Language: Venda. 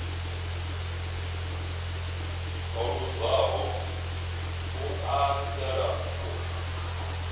o luzaho u anzela u